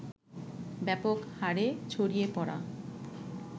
ব্যাপক হারে ছড়িয়ে পড়া